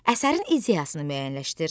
Əsərin ideyasını müəyyənləşdir.